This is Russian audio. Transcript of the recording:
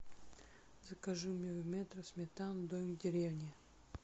закажи мне в метро сметану домик в деревне